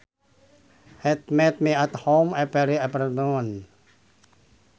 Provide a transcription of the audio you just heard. He meets me at home every afternoon